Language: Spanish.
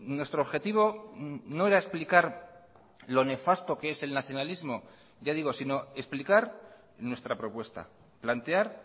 nuestro objetivo no era explicar lo nefasto que es el nacionalismo ya digo sino explicar nuestra propuesta plantear